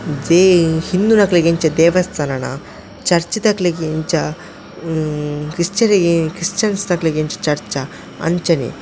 ಜೈ ಹಿಂದುನಕ್ಲೆಗ್ ಎಂಚ ದೇವಸ್ಥಾನನ ಚರ್ಚ್ ದಕ್ಲೆಗ್ ಇಂಚ ಕ್ರಿಸ್ಚಿಯನ್ ಕ್ರಿಸ್ಚಿಯನ್ ದಕ್ಲೆಗ್ ಎಂಚ ಚರ್ಚ್ ಆ ಅಂಚನೆ.